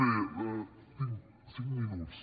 bé tinc cinc minuts